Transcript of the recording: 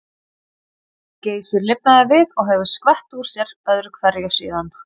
Geysir lifnaði við og hefur skvett úr sér öðru hverju síðan.